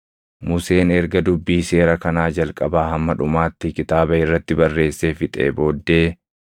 Museen erga dubbii seera kanaa jalqabaa hamma dhumaatti kitaaba irratti barreessee fixee booddee,